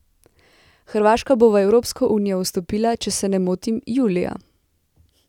Hrvaška bo v Evropsko unijo vstopila, če se ne motim, julija.